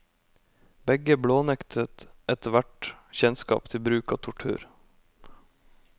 Begge blånektet ethvert kjennskap til bruk av tortur.